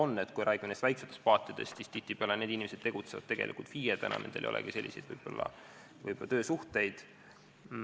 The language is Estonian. Kui me räägime väikestest paatidest, siis tihtipeale nendel töötavad inimesed tegutsevad FIE-dena, neil ei olegi võib-olla selliseid töösuhteid.